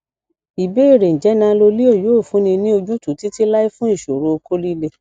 ìbéèrè njẹ nanoleo yoo funni ni ojutu titilai fun iṣoro okó lile